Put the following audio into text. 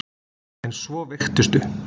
En svo veiktistu.